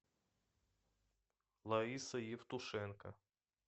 лариса евтушенко